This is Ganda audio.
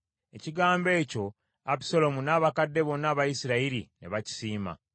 Ekigambo ekyo Abusaalomu n’abakadde bonna aba Isirayiri ne bakisiima.